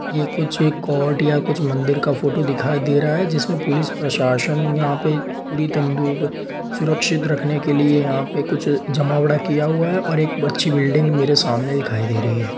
ये कुछ कोर्ट या कुछ मंदिर का फोटो दिखाई दे रहा है जिसमे पुलिस प्रशासन यहाँ पे पूरी तिंदु सुरक्षित रखने के लिए यहाँ कुछ जमावड़ा किया हुआ है और एक अच्छी बिल्डिंग मेरे सामने दिखाई दे रही है।